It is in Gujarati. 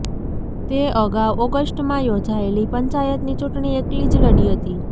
તે અગાઉ ઓગસ્ટમાં યોજાયેલી પંચાયતની ચૂંટણી એકલી જ લડી હતી